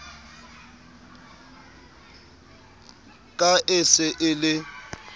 ka e se e le